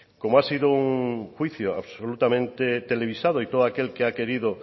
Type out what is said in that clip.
como ha sido un juicio absolutamente televisado y todo aquel que ha querido